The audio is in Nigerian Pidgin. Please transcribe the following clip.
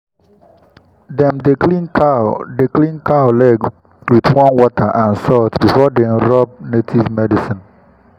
dem dey clean cow dey clean cow leg wit warm water and salt before dem rub native medicine.